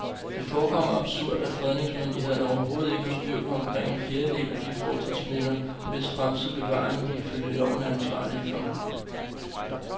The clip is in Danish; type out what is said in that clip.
Det forekommer absurd, at fredningsmyndighederne overhovedet ikke har styr på omkring en fjerdedel af de fortidsminder, hvis fremtidige bevaring de ifølge loven er ansvarlige for.